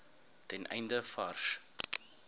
ten einde vars